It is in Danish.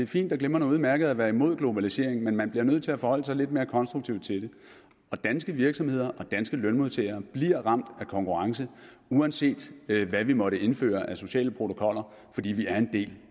fint og glimrende og udmærket at være imod globaliseringen men man bliver nødt til at forholde sig lidt mere konstruktivt til det og danske virksomheder og danske lønmodtagere bliver ramt af konkurrence uanset hvad vi måtte indføre af sociale protokoller fordi vi er en del